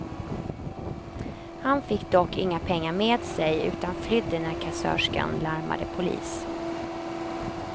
Han fick dock inga pengar med sig, utan flydde när kassörskan larmade polis.